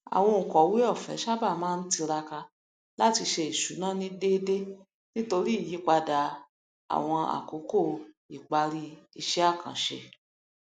àwọn onkọwé ọfẹ sábà máa ń tiraka láti ṣe ìṣúná ní deede nítorí ìyípadà àwọn àkókò ipari iṣẹ àkànṣe